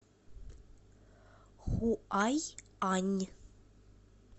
хуайань